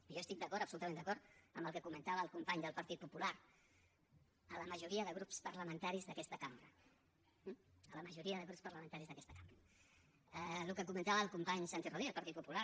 i jo estic d’acord absolutament d’acord amb el que comentava el company del partit popular la majoria de grups parlamentaris d’aquesta cambra eh la majoria de grups parlamentaris d’aquesta cambra el que comentava el company santi rodríguez del partit popular